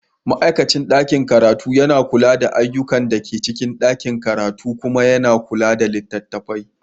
Ma'aikacin ɗakin karatu yana kula da ayyukan da ke cikin ɗakin karatu kuma yana kula da littattafan.